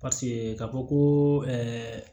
paseke ka fɔ ko ɛɛ